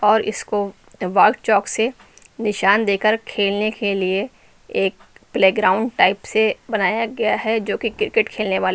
और इसको wall chalk से निशान देकर खेलने के लिए एक प्लेग्राउंड टाइप से बनाया गया है जो कि क्रिकेट खेलने वाले--